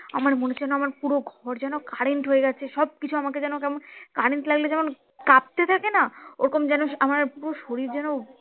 আমার মনে হচ্ছে যেন আমার পুরো ঘর যেন current হয়ে গেছে সব কিছু আমাকে যেন কেমন current লাগলে যেমন কাঁপতে থাকে না ওরকম যেন আমার পুরো শরীর যেন